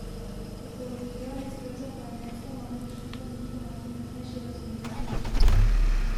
Ekologija in skrb za planet sta namreč v tem trenutku najpomembnejši razvojni usmeritvi.